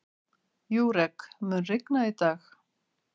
Júrek, mun rigna í dag?